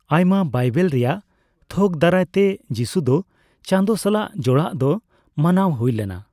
ᱟᱭᱢᱟ ᱵᱟᱭᱵᱮᱞ ᱨᱮᱭᱟᱜ ᱛᱷᱚᱠ ᱫᱟᱨᱟᱭᱛᱮ ᱡᱤᱥᱩ ᱫᱚ ᱪᱟᱸᱫᱳ ᱥᱟᱞᱟᱜ ᱡᱚᱲᱟᱲ ᱫᱚ ᱢᱟᱱᱟᱣ ᱦᱩᱭ ᱞᱮᱱᱟ ᱾